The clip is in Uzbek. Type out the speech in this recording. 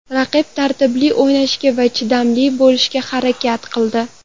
Raqib tartibli o‘ynashga va chidamli bo‘lishga harakat qildi.